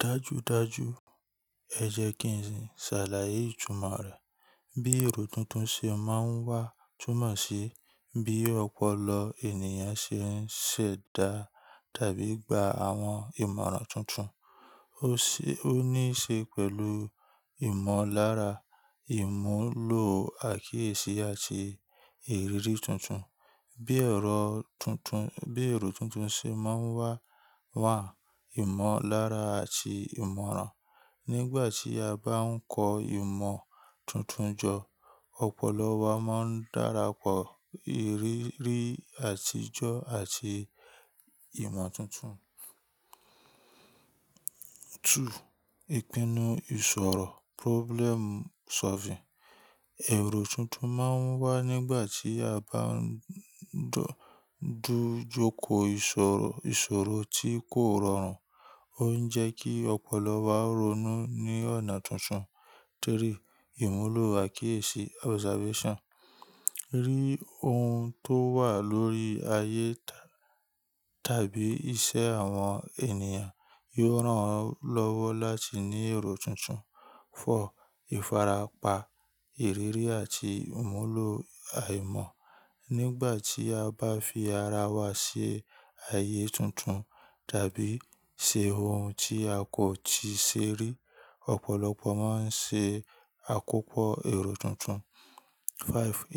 Dájúdájú, ẹ jẹ́ kí n ṣàlàyé ìtumọ̀ rẹ̀. Bí èrò tuntun ṣe máa ń wá túmọ̀ sí bí ọ̀pọ̀lọpọ̀ ènìyàn ṣe ń ṣẹ̀dá tàbí gba àwọn ìmọ̀ràn tuntun. Ó ní í ṣe pẹ̀lú ìmọ̀lára, ìmúlò àkíyèsí àti ìrírí tuntun. Bí èrò tuntun ṣe máa ń wá wà ìmọ̀lára àti ìmọ̀ràn. Nígbà tí a bá ń kọ́ ìmọ̀ tuntun jọ, ọ̀pọ̀lọpọ̀ wa máa ń darapọ̀ ìrírí àtijọ́ àti ìmọ̀ tuntun. Ìpinnu ìṣòro problem solving. Èrò tuntun máa ń wá nígbà tí a bá ń dojúkọ ìṣòro tí kò rọrùn. Ó ń jẹ́ kí ọ̀pọ̀lọpọ̀ wá ronú ní ọ̀nà tuntun. Ìmúlò àkíyèsí observation. Rí ohun tó wà lórí ayé tàbí iṣẹ́ àwọn ènìyàn yóò ràn lọ́wọ́ láti ní èrò tuntun. Ìfarapa, ìrírí àti ìmúlò àìmọ̀. Nígbà tí a bá fi ara wa sí ayé tuntun tàbí ṣe ohun tí a kò ti ṣe rí, ọ̀pọ̀lọpọ̀ máa ń ṣe àkópọ̀ èrò tuntun.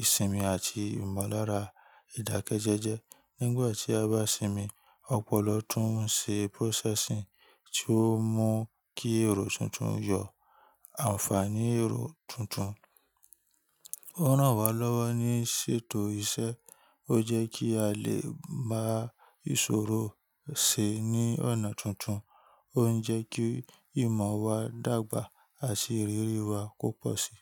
Isinmi àti ìmọ̀lára ìdákẹ́jẹ́jẹ́. Nígbà tí a bá sinmi, ọ̀pọ̀lọ tún ń ṣe processing tí ó mú kí èrò tuntun yọ. Ànfàní èrò tuntun ó ràn wá lọ́wọ́ ní ṣètò iṣẹ́, ó jẹ́ kí a lè bá ìṣòro ṣe ní ọ̀nà tuntun, ó ń jẹ́ kí ìmọ̀ wa dàgbà àti ìrírí wa ko pọ̀sí.